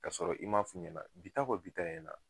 Kasɔrɔ i m'a f'u ɲɛna bi ta kɔ bi ta ɲɛna